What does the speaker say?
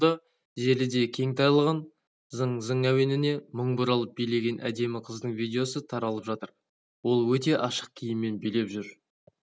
ғаламторда желіде кең таралған зың-зың әуеніне мың бұралып билеген әдемі қыздың видеосы таралып жатыр ол өте ашық киіммен билеп жүр